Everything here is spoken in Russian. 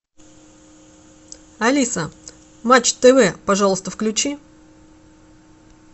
алиса матч тв пожалуйста включи